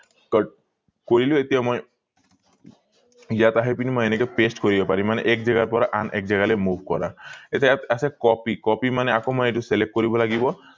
cut কৰিলো এতিয়া মই ইয়াত আহি পিনি এনেকে মই paste কৰিব পাৰিম মানে এক জেগাৰ পৰা আন এক জেগালে move কৰা এতিয়া ইয়াত আছে copy মানে আকৌ মই এইটো select কৰিব লাগিব